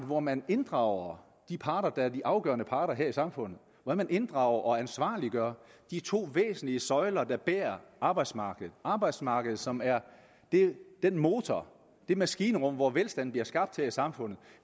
hvor man inddrager de parter der er de afgørende parter her i samfundet hvor man inddrager og ansvarliggør de to væsentlige søjler der bærer arbejdsmarkedet arbejdsmarkedet som er den motor det maskinrum hvor velstanden bliver skabt til samfundet